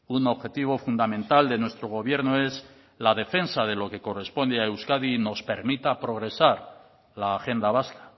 un objetivo fundamental de nuestro gobierno es la defensa de lo que corresponde a euskadi y nos permita progresar la agenda vasca